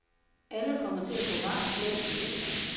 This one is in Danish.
Alle kommer til at gå varmt klædt til vinter.